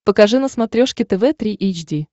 покажи на смотрешке тв три эйч ди